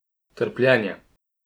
Trpljenje.